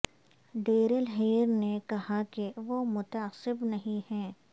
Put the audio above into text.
Darrell Hair نے کہا کہ وہ متعصب نہیں ہیں